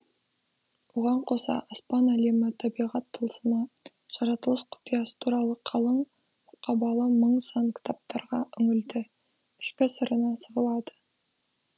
оған қоса аспан әлемі табиғат тылсымы жаратылыс құпиясы туралы қалың мұқабалы мың сан кітаптарға үңілді ішкі сырына сығалады